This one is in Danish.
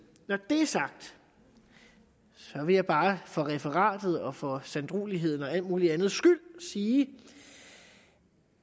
når det er sagt vil jeg bare for referatet for sanddruelighedens og alt muligt andets skyld sige